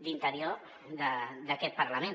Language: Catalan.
d’interior d’aquest parlament